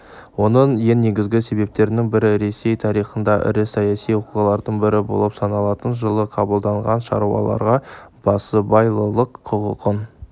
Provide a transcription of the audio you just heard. оның ең негізгі себептерінің бірі ресей тарихында ірі саяси оқиғалардың бірі болып саналатын жылы қабылданған шаруаларға басыбайлылық құқығын